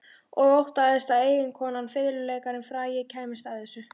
Og óttaðist að eiginkonan, fiðluleikarinn frægi, kæmist að þessu.